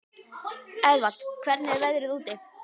Eðvald, hvernig er veðrið úti?